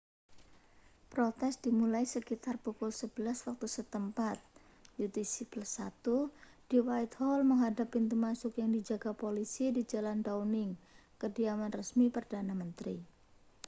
protes dimulai sekitar pukul 11.00 waktu setempat utc+1 di whitehall menghadap pintu masuk yang dijaga polisi di jalan downing kediaman resmi perdana menteri